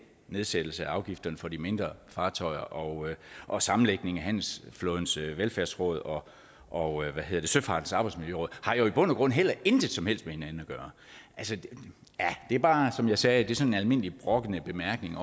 nedsættelse af afgifterne for de mindre fartøjer og og sammenlægningen af handelsflådens velfærdsråd og og søfartens arbejdsmiljøråd jo i bund og grund heller intet som helst har med hinanden at gøre altså det er bare som jeg sagde sådan en almindelig brokkende bemærkning